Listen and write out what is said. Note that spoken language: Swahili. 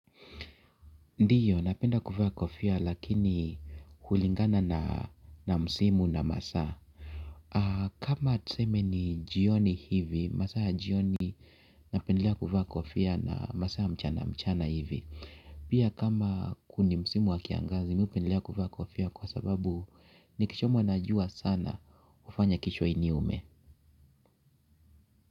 Ndiyo napenda kuvaa kofia lakini hulingana na msimu na masaa. Kama tuseme ni jioni hivi, masaa ya jioni napendelea kuvaa kofia na masaa mchana mchana hivi. Pia kama ku ni msimu wa kiangazi, mi hupendilea kuvaa kofia kwa sababu ni kichomwa na jua sana ufanya kichwa iniume.